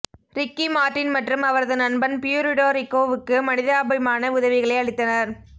Ricky Martin மற்றும் அவரது நண்பன் பியூரிடோ ரிக்கோவுக்கு மனிதாபிமான உதவிகளை அளித்தனர்